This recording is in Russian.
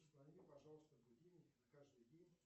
установи пожалуйста будильник на каждый день